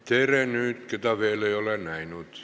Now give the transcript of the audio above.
Tere neile, keda veel näinud ei ole!